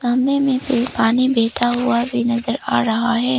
सामने मे भी पानी बहता हुआ भी नजर आ रहा हैं।